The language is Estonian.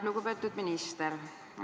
Lugupeetud minister!